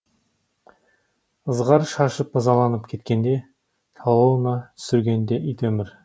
ызғар шашып ызаланып кеткенде талауына түсіргенде ит өмір